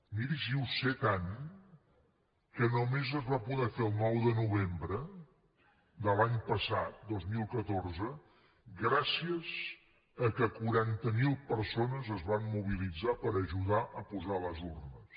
miri si ho sé tant que només es va poder fer el nou de novembre de l’any passat dos mil catorze gràcies al fet que quaranta mil persones es van mobilitzar per ajudar a posar les urnes